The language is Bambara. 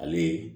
Ale